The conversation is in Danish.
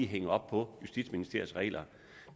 hænge op på justitsministeriets regler